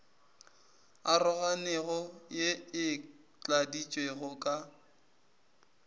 aroganego ye e tladitšwego ka